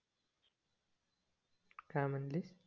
काय म्हणालीस